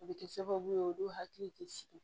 O bɛ kɛ sababu ye olu hakili tɛ sigi